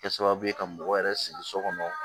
Kɛ sababu ye ka mɔgɔ yɛrɛ sigi so kɔnɔ